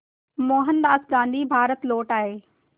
मोहनदास गांधी भारत लौट आए